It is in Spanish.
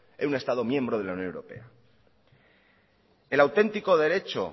en un estado miembro de la unión europea el auténtico derecho